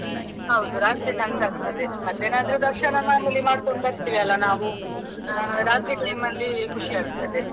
ಹೌದು ರಾತ್ರಿ ಚಂದ ಆಗ್ತದೆ ಮಧ್ಯಾಹ್ನ ಆದ್ರೆ ದರ್ಶನ ಮಾಡ್ಕೊಂಡ್ ಬರ್ತೇವೆ ಅಲಾ ನಾವು, ರಾತ್ರಿ time ಅಲ್ಲಿ ಖುಷಿ ಆಗ್ತದೆ.